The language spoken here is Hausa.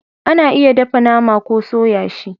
A na iya dafa nama ko soya shi